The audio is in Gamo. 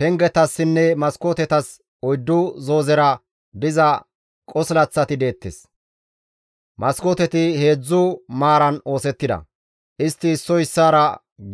Pengetassinne maskootetas oyddu zoozera diza qosilaththati deettes; maskooteti heedzdzu maaran oosettida; istti issoy issaara